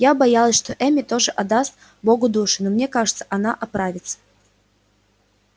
я боялась что эмми тоже отдаст богу душу но мне кажется она оправится